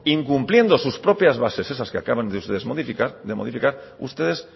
incumpliendo sus propias bases esas que acaban de modificar a ustedes